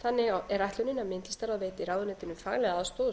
þannig er ætlunin að myndlistarráð veiti ráðuneytinu faglega aðstoð og